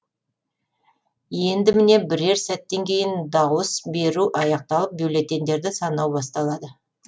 енді міне бірер сәттен кейін дауыс беру аяқталып бюллетендерді санау басталады